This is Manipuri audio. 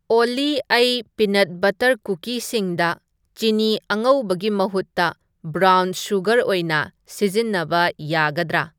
ꯑꯣꯜꯂꯤ ꯑꯩ ꯄꯤꯅꯠ ꯕꯠꯇꯔ ꯀꯨꯀꯤꯁꯤꯡꯗ ꯆꯤꯅꯤ ꯑꯉꯧꯕꯒꯤ ꯃꯍꯨꯠꯇ ꯕꯡꯔꯥꯎꯟ ꯁꯨꯒꯔ ꯑꯣꯏꯅ ꯁꯤꯖꯤꯟꯅꯕ ꯌꯥꯒꯗ꯭ꯔꯥ